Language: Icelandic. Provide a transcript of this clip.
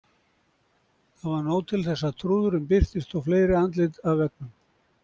Það var nóg til þess að trúðurinn birtist og fleiri andlit af veggnum.